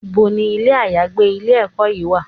Ibo ni ilé àyágbé ilé-ẹ̀kọ́ yìí wà?